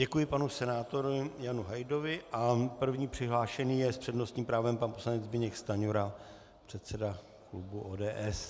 Děkuji panu senátoru Janu Hajdovi a první přihlášený je s přednostním právem pan poslanec Zbyněk Stanjura, předseda klubu ODS.